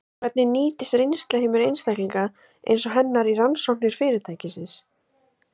Hvernig nýtist reynsluheimur einstaklinga eins og hennar í rannsóknir fyrirtækisins?